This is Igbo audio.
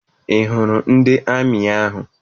Ị hụrụ ndị amị ahụ?